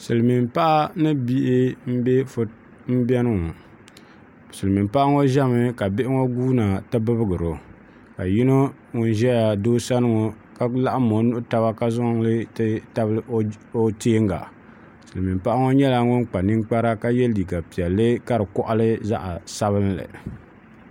Silmiin paɣa ni bihi n biɛni ŋɔ silmiin paɣa ŋɔ ʒɛmi ka bihi ŋɔ guuna ti bibgo ka yino ŋun ʒɛya doo sani ŋɔ ka laɣam o nuhi taba ka zaŋ o nubihi ti tabili o teenga silmiin paɣa ŋɔ nyɛla ŋun kpa ninkpara ka yɛ liiga piɛlli ka di koɣali zaɣ sabinli